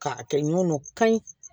K'a kɛ ɲɔgɔn don ka ye